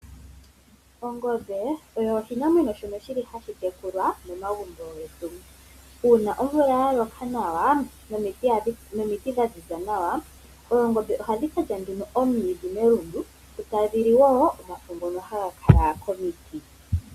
Ongombe oyo oshinamwenyo shoka hashi tekulwa momagumbo getu, uuna omvula yaloka nawa nomiti dhaziza nawa, oongombe ohadhi kalya nduno oomwidhi melundu, eta dhi li woo omafo ngono haga kala komiti.